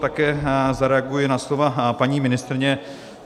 Také zareaguji na slova paní ministryně.